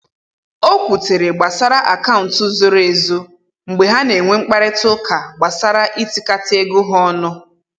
o kwutere gbasara akaụntụ zoro ezo mgbe ha na enwe mkparịta ụka gbasara itikata ego ha ọnụ